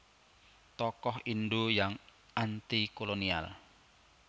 Tokoh Indo yang Antikolonial